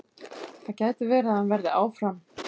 Það gæti verið að hann verði áfram.